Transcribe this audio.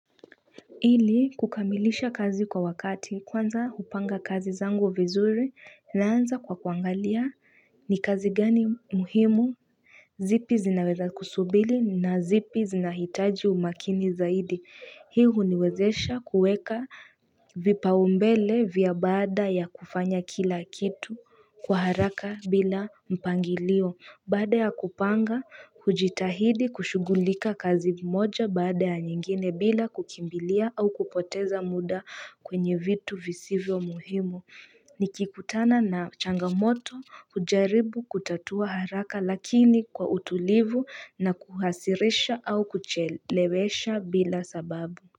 Ili kukamilisha kazi kwa wakati kwanza hupanga kazi zangu vizuri naanza kwa kuangalia ni kazi gani muhimu. Zipi zinaweza kusubiri na zipi zinahitaji umakini zaidi. Hii huniwezesha kuweka vipa umbele vya baada ya kufanya kila kitu kwa haraka bila mpangilio. Baada ya kupanga, kujitahidi kushughulika kazi moja baada ya nyingine bila kukimbilia au kupoteza muda kwenye vitu visivyo muhimu. Nikikutana na changamoto, kujaribu kutatua haraka lakini kwa utulivu na kuhasirisha au kuchelewesha bila sababu.